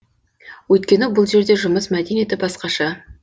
өйткені бұл жерде жұмыс мәдениеті басқаша